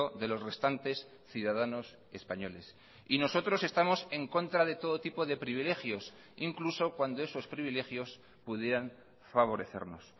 de los restantes ciudadanos españoles y nosotros estamos en contra de todo tipo de privilegios incluso cuando esos privilegios pudieran favorecernos